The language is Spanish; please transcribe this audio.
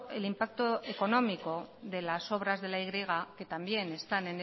el impacto económico de las obras de la y que también están